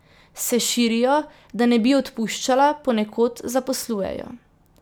Se širijo, da ne bi odpuščala, ponekod zaposlujejo.